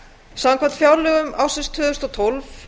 samkvæmt fjárlögum ársins tvö þúsund og tólf